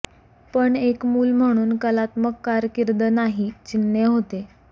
पण एक मूल म्हणून कलात्मक कारकीर्द नाही चिन्हे होते